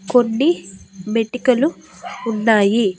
కొన్ని మెటికలు ఉన్నాయి.